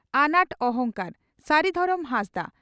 ᱟᱱᱟᱴ ᱚᱦᱚᱝᱠᱟᱨ (ᱥᱟᱹᱨᱤ ᱫᱷᱚᱨᱚᱢ ᱦᱟᱸᱥᱫᱟ)